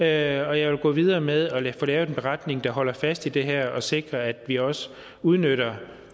jeg vil gå videre med at få lavet en beretning der holder fast i det her og sikrer at vi også udnytter